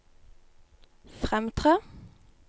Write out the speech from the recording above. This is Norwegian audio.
fremtre